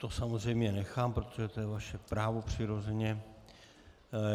To samozřejmě nechám, protože to je vaše právo, přirozeně.